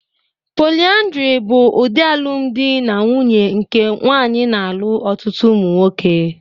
Polyandry bụ ụdị alụmdi na nwunye nke nwaanyị na-alụ ọtụtụ ụmụ nwoke.